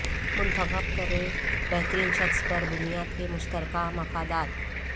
منتخب کریں بہترین شخص پر بنیاد کے مشترکہ مفادات